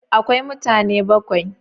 Akwai mutane bakwai?